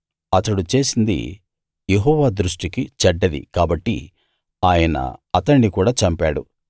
అతడు చేసింది యెహోవా దృష్టికి చెడ్డది కాబట్టి ఆయన అతణ్ణి కూడా చంపాడు